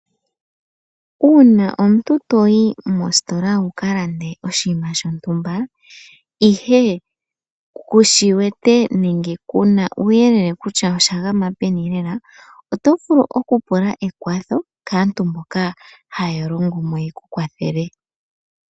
Uuna omuntu to yi mositola wu kalande oshinima shontumba ihe kushi wete, nenge kuuna uuyelele kutya osha gama peni lela, oto vulu okupula ekwatho kaantu mbono haya longo mo opo yeku kwathele.